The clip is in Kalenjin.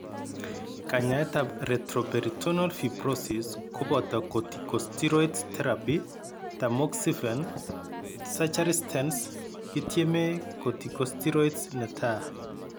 Kanyaetab retroperitoneal fibrosis koboto corticosteroid therapy tamoxifen surgery stents kityeme corticosteroids netai.